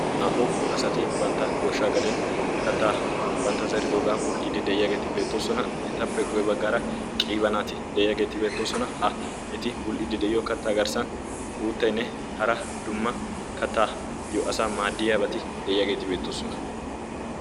Naa"u asati bantta goshshaa gaden kattaa bantta zeridoogaa bul"iddi de'iyaageeti beettoosona etappe guye baggaara qiibanaati de'iyaageeti beettoosona ha eti bul"idi de'iyo kattaa garssan uutteinne hara dumma kattaayyo asa maaddiyaabati de'iyaageeti beettoosona.